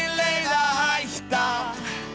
að hætta